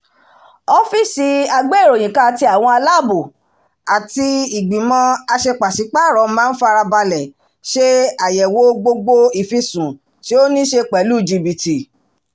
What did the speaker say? ọ́fíísì agbé-ìròyìnká ti àwọn aláàbò àti ìgbìmọ̀ aṣepàṣípàrọ̀ máa ń farabalẹ̀ ṣe ayẹwo gbogbo ìfisùn to ní ṣe pẹ̀lú jìbìtì